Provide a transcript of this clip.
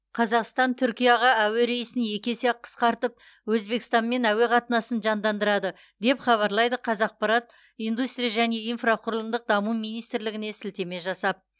қазақстан түркияға әуе рейсін екі есе қысқартып өзбекстанмен әуе қатынасын жандандырады деп хабарлайды қазақпарат индустрия және инфрақұрылымдық даму министрлігіне сілтеме жасап